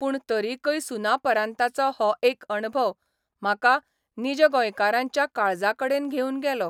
पूण तरिकय सुनापरान्ताचो हो एक अणभव म्हाका नीज गोंयकाराच्या काळजाकडेन घेवन गेलो.